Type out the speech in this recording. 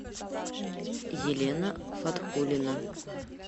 елена фатхулина